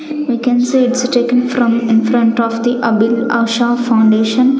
We can see it's taken from in front of the Abhilasha foundation.